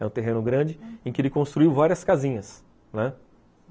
É um terreno grande em que ele construiu várias casinhas, né?